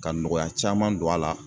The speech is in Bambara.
Ka nɔgɔya caman don a la